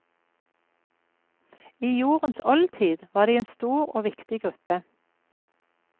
I jordens oldtid var de en stor og viktig gruppe.